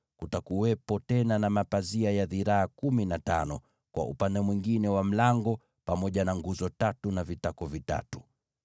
Kutakuwepo tena na mapazia ya dhiraa kumi na tano kwa upande mwingine wa ingilio, pamoja na nguzo tatu na vitako vitatu.